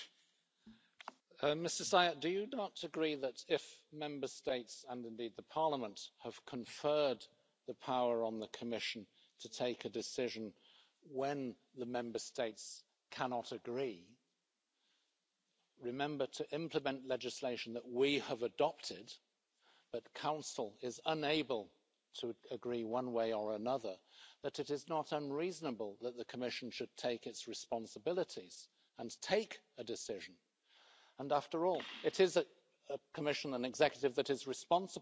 Mr Szájer, do you not agree that if Member States, and indeed the Parliament, have conferred the power on the Commission to take a decision when the Member States cannot agree remember to implement legislation that we have adopted but Council is unable to agree one way or another that it is not unreasonable that the Commission should take its responsibilities and take a decision. And after all, the Commission is an executive that is responsible to this Parliament.